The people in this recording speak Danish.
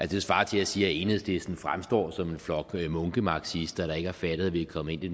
det svarer til at sige at enhedslisten fremstår som en flok munkemarxister der ikke har fattet at vi er kommet ind i